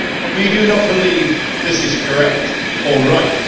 We do not believe this is correct or right.